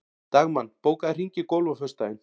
Dagmann, bókaðu hring í golf á föstudaginn.